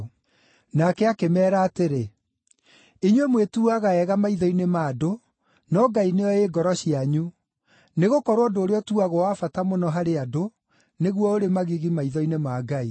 Nake akĩmeera atĩrĩ, “Inyuĩ mwĩtuuaga ega maitho-inĩ ma andũ, no Ngai nĩoĩ ngoro cianyu, nĩgũkorwo ũndũ ũrĩa ũtuagwo wa bata mũno harĩ andũ, nĩguo ũrĩ magigi maitho-inĩ ma Ngai.